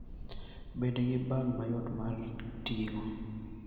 Bed gi bag mayot mar ting'o.